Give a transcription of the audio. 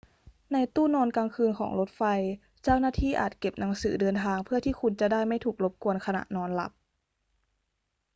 ในตู้นอนกลางคืนของรถไฟ เจ้าหน้าที่อาจเก็บหนังสือเดินทางเพื่อที่คุณจะได้ไม่ถูกรบกวนขณะนอนหลับ